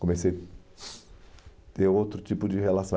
Comecei a ter outro tipo de relação.